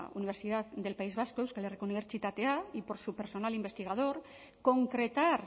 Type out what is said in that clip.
universidad del país vasco euskal herriko unibertsitatea y por su personal investigador concretar